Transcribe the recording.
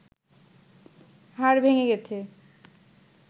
হাড় ভেঙ্গে গেছে